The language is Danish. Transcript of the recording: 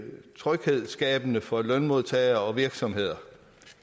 tryghedsskabende for lønmodtagere og virksomheder